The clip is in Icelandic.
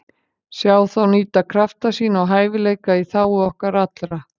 Sjá þá nýta krafta sína og hæfileika í þágu okkar allra.